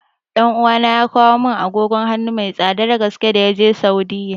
Ɗan uwana ya kawo mun agogon hanu mai tsadar gaske da yaje Saudi